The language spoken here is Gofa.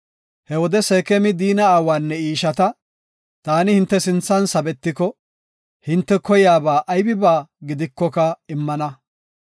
He wode Seekemi Diina aawanne I ishata, “Taani hinte sinthan sabetiko, hinte koyiyaba aybiba gidikoka immana.